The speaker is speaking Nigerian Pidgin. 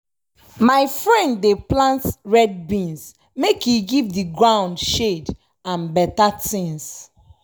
my friend dey plant red beans make e give de gound shade and beta tins.